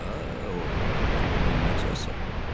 Hə, oğul, indi necəsən?